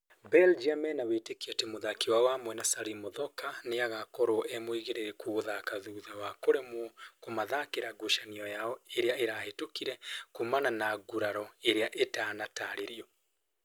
Belgium mena wĩtĩkio atĩ mũthaki wao wa mwena Salim Muthoka nĩ agakorwo e mũigĩrĩrĩku gũthaka thutha wake kũremwo kũmathakira ngucanio yao ĩrĩa ĩrahĩtũkire kumana na nguraro irĩa itanatarĩrio